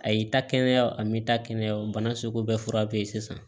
A y'i ta kɛnɛya a m'i ta kɛnɛya o bana sugu bɛɛ fura be ye sisan